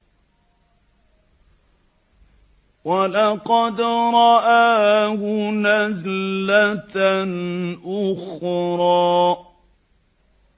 وَلَقَدْ رَآهُ نَزْلَةً أُخْرَىٰ